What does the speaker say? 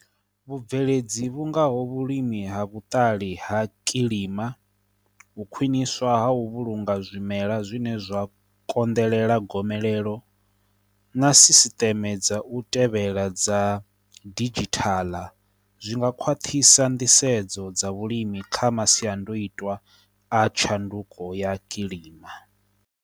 Vhubveledzi vhungoho vhulimi ha vhuṱali ha kilima, u khwiṋiswa ha u vhulunga zwimela zwine zwa konḓelela gomelelo, na sisiteme dza u tevhela dza didzhithaḽa, zwi nga khwaṱhisa nḓisedzo dza vhulimi kha masiandoitwa a tshanduko ya kilima.